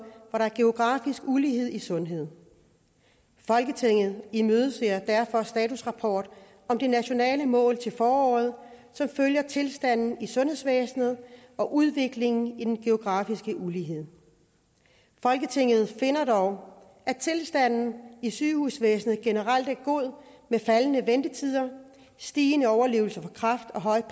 hvor der er geografisk ulighed i sundhed folketinget imødeser derfor statusrapport om de nationale mål til foråret som følger tilstanden i sundhedsvæsenet og udviklingen i den geografiske ulighed folketinget finder dog at tilstanden i sygehusvæsenet generelt er god med faldende ventetider stigende overlevelse for kræft og høj